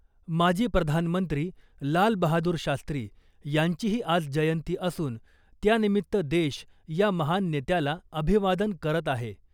माजी प्रधानमंत्री लाल बहादूर शास्त्री यांचीही आज जयंती असून , त्यानिमित्त देश या महान नेत्याला अभिवादन करत आहे .